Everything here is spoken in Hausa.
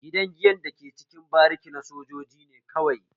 Gidan giyan da ke cikin bariki na sojoji ne kawai